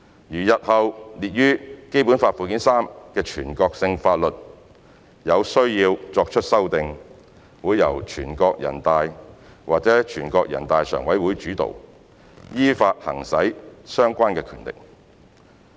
如日後列於《基本法》附件三的全國性法律有需要作出修訂，會由全國人大或人大常委會主導，依法行使相關的權力。